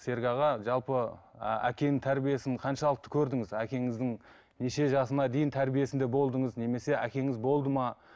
серік аға жалпы әкенің тәрбиесін қаншалықты көрдіңіз әкеңіздің неше жасына дейін тәрбиесінде болдыңыз немесе әкеңіз болды ма